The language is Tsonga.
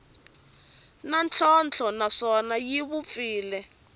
na ntlhontlho naswona yi vupfile